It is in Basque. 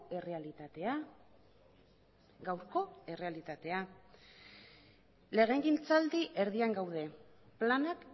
errealitatea gaurko errealitatea legegintzaldi erdian gaude planak